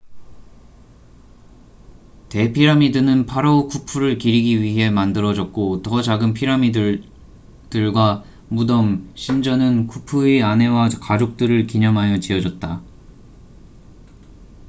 대피라미드는 파라오 쿠푸를 기리기 위해 만들어졌고 더 작은 피라미드들과 무덤 신전은 쿠푸의 아내와 가족들을 기념하여 지어졌다